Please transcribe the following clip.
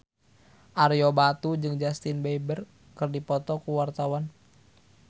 Ario Batu jeung Justin Beiber keur dipoto ku wartawan